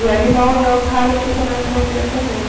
E aí o mal de Alzheimer que começa mais cedo também.